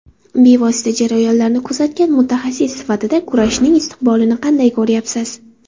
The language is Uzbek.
Bevosita jarayonlarni kuzatgan mutaxassis sifatida kurashning istiqbolini qanday ko‘ryapsiz?